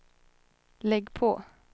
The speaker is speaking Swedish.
lägg på